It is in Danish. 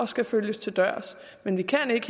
skal følges til dørs men vi kan ikke